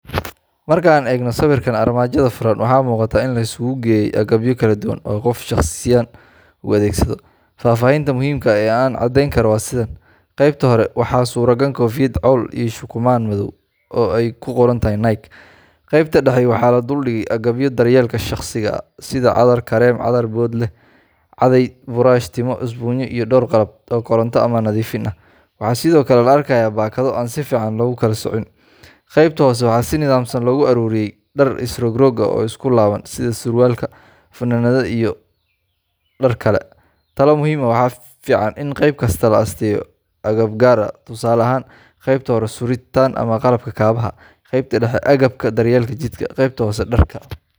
Marka aan eegno sawirkan armaajada furan, waxa muuqata in la isugu geeyay agabyo kala duwan oo qof shaqsiyan u adeegsado. Faahfaahinta muhiimka ah ee aan ka caddeyn karo waa sidan:Qaybta kore: Waxaa suran koofiyad cawl ah iyo shukumaan madow ah oo ay ku qoran tahay NIKE.Qaybta dhexe: Waxaa la dul dhigay agabyo daryeelka shaqsiga ah sida: cadar, kareem, cadar boodh leh, caday, buraash timo, isbuunyo, iyo dhowr qalab oo koronto ama nadiifin ah. Waxaa sidoo kale la arkayaa baakado aan si fiican loo kala soocin. Qaybta hoose: Waxaa si nidaamsan loogu ururiyey dhar is rog-rog ah oo isku laaban, sida surwaal, funaanado iyo dhar kale .Talo muhiim ah: Waxaa fiican in qayb kasta loo asteeyo agab gaar ah, tusaale ahaan: Qaybta kore: suritaan ama qalabka kabaha Qaybta dhexe: agabka daryeelka jidhka ,Qaybta hoose: dharka.